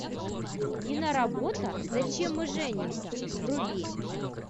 киноработа зачем мы женимся вруби